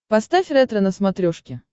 поставь ретро на смотрешке